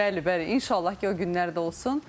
Bəli, bəli, inşallah ki, o günlər də olsun.